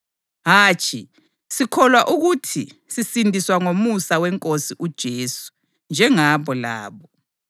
Hatshi! Sikholwa ukuthi sisindiswa ngomusa weNkosi uJesu, njengabo labo.”